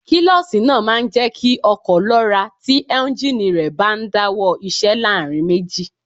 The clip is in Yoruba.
Kílọ̀ṣì náà máa ń jẹ́ kí ọkọ̀ lọ́ra tí éúnjínì rẹ̀ bá ń dáwọ́ iṣẹ́ láàrin méjì